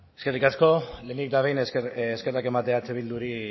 eskerrik asko lehenik eta behin eskerrak ematea eh bilduri